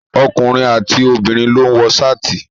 Ọkùnrin àti obìnrin ló ń wọ Ṣáàtì.